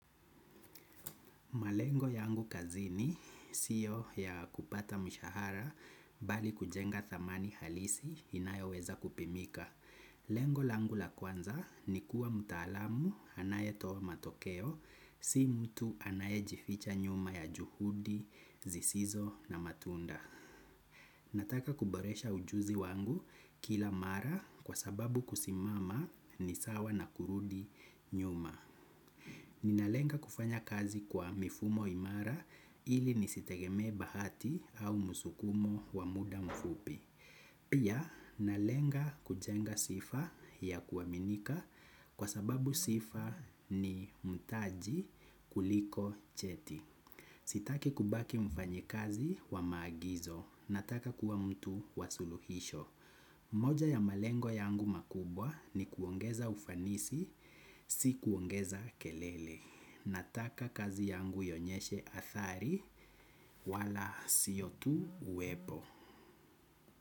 Malengo yangu kazini siyo ya kupata mshahara bali kujenga thamani halisi inayoweza kupimika. Lengo langu la kwanza ni kuwa mtaalamu anayetoa matokeo si mtu anayejificha nyuma ya juhudi, zisizo na matunda. Nataka kuboresha ujuzi wangu kila mara kwa sababu kusimama ni sawa na kurudi nyuma. Ninalenga kufanya kazi kwa mifumo imara ili nisitegemee bahati au musukumo wa muda mfupi. Pia nalenga kujenga sifa ya kuaminika kwa sababu sifa ni mtaji kuliko cheti. Sitaki kubaki mfanyikazi wa maagizo. Nataka kuwa mtu wa suluhisho. Moja ya malengo yangu makubwa ni kuongeza ufanisi, si kuongeza kelele. Nataka kazi yangu ionyeshe athari wala siyo tu uwepo.